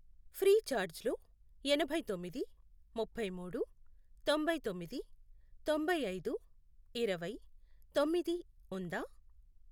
Freecharge లో ఎనభై తొమ్మిది, ముప్పై మూడు, తొంభై తొమ్మిది, తొంభై ఐదు, ఇరవై, తొమ్మిది, ఉందా?